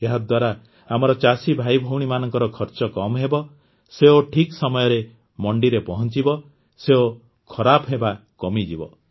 ଏହାଦ୍ୱାରା ଆମର ଚାଷୀ ଭାଇଭଉଣୀମାନଙ୍କର ଖର୍ଚ କମ୍ ହେବ ସେଓ ଠିକ୍ ସମୟରେ ମଣ୍ଡିରେ ପହଂଚିବ ସେଓ ଖରାପ ହେବା କମିଯିବ